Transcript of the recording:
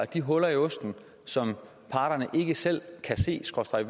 de huller i osten som parterne ikke selv